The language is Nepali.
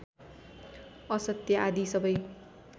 असत्य आदि सबै